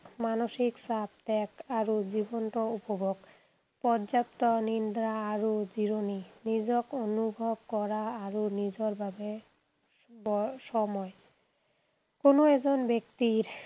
মানসিক চাপ ত্যাগ আৰু জীৱনটো উপভোগ। পৰ্যাপ্ত নিদ্ৰা আৰু জিৰণী। নিজক অনুভৱ কৰা আৰু নিজৰ বাবে সময়। কোনো এজন ব্যক্তি